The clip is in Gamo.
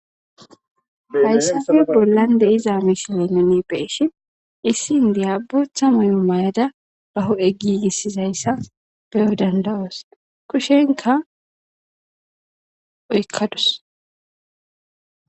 hayssafe bollan deiza misile nuni be7ishi issi indiya boththa mayo mayada baho ezape gissizayssa beyo dandawoos kushenka oykkadus